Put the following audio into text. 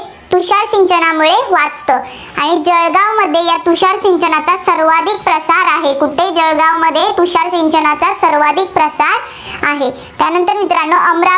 आणि जळगावमध्ये या तुषार सिंचनाचा सर्वाधिक प्रसार आहे. कुठे? जळगावमध्ये तुषार सिंचनाचा सर्वाधिक प्रसार आहे. त्यानंतर मित्रांनो अमरावती